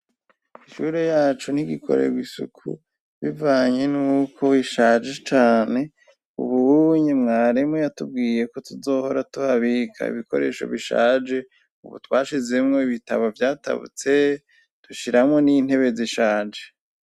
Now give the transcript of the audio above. ishure yacu n'igikorewo isuku bivanye n'uko ishaje cane ubunye mwarimu yatubwiye ko tuzohora tuhabika ibikoresho bishaje ubu twashizemo ibitabo byatabutse tushyiramo n'intebe zishaje